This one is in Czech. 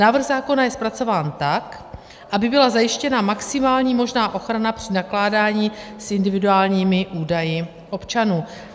Návrh zákona je zpracován tak, aby byla zajištěna maximální možná ochrana při nakládání s individuálními údaji občanů.